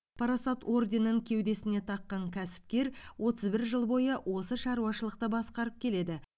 парасат орденін кеудесіне таққан кәсіпкер отыз бір жыл бойы осы шаруашылықты басқарып келеді